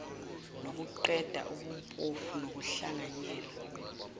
nokuqeda ubumpofu nokuhlanganyela